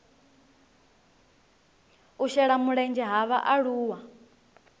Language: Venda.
u shela mulenzhe ha vhaaluwa